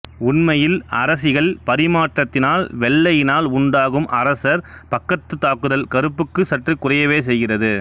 உண்மையில் அரசிகள் பரிமாற்றத்தினால் வெள்ளையினால் உண்டாகும் அரசர் பக்கத்து தாக்குதல் கருப்புக்கு சற்று குறையவே செய்கிறது